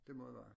Det må det være